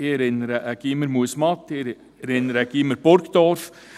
Ich erinnere an das Gymnasium Muesmatt, ich erinnere an das Gymnasium Burgdorf.